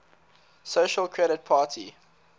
social credit party